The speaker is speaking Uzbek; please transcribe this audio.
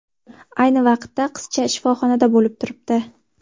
Ayni vaqtda qizcha shifoxonada bo‘lib turibdi.